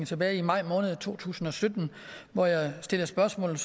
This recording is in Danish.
tilbage i maj måned to tusind og sytten hvor jeg stillede spørgsmål